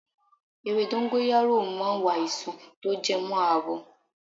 Ewé dọ́ńgóráyò ma ń wo àìsàn tó jẹ mọ́ àwọ̀.